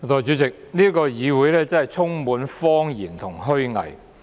代理主席，這個議會充滿謊言和虛偽。